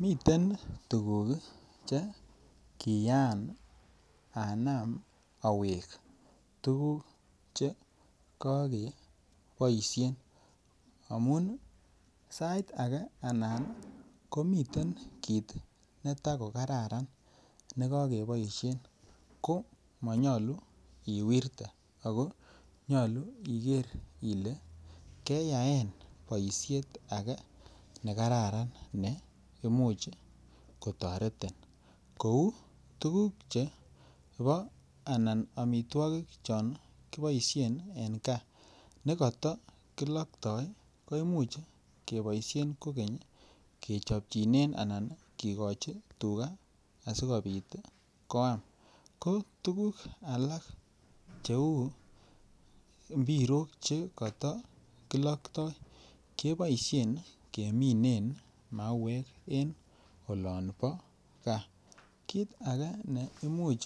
Miten tuguk Che kiyaan anam awek tuguk Che kokeboisien anan amun sait age anan komiten kit netakokaran be nekokeboisien ko monyoluu iwerte ako nyolu igeer ile keyaen boisiet ake ne kararan ne Imuch kotoretin kou tuguk chebo anan amitwogik chon kiboisien en gaa nekatokilokto koimuch keboisien kogeny kigochi tuga asi. koam tuguk alak cheu mpirok chekata kilokto keboisien keminen mauek en olon bo gaa kit age ne Imuch